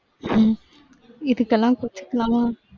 உம் இதுக்கெல்லாம் கோச்சுக்கலாமா?